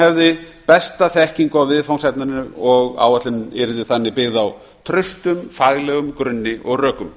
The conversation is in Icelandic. hefði besta þekkingu á viðfangsefninu og áætlunin yrði þannig byggð á traustum faglegum grunni og rökum